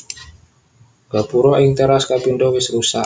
Gapura ing téras kapindho wis rusak